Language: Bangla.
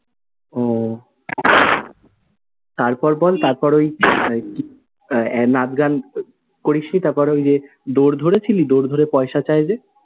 ও! তার পর বল তার পর ওই নাচ গান করিসনি? তার পর ওই যে দোর ধরে ছিলি, দোর ধরে পয়সা চায় যে?